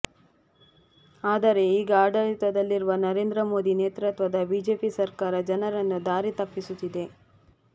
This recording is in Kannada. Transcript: ಆದರೆ ಈಗ ಆಡಳಿತದಲ್ಲಿರುವ ನರೇಂದ್ರ ಮೋದಿ ನೇತೃತ್ವದ ಬಿಜೆಪಿ ಸರಕಾರ ಜನರನ್ನು ದಾರಿ ತಪ್ಪಿಸುತ್ತಿದೆ